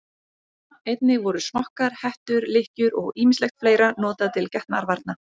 Einnig voru smokkar, hettur, lykkjur og ýmislegt fleira notað til getnaðarvarna.